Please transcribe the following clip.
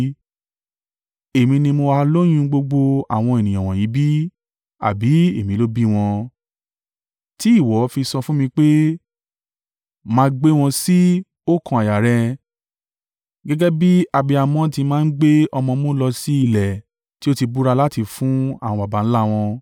Èmi ni mo ha lóyún gbogbo àwọn ènìyàn wọ̀nyí bí? Àbí èmi ló bí wọn? Tí ìwọ fi sọ fún mi pé, máa gbé wọn sí oókan àyà rẹ, gẹ́gẹ́ bí abiyamọ ti máa ń gbe ọmọ ọmú lọ sí ilẹ̀ tí o ti búra láti fún àwọn baba ńlá wọn.